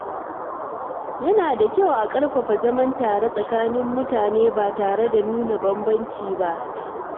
Yana da kyau a ƙarfafa zaman tare tsakanin mutane ba tare da nuna bambanci ba.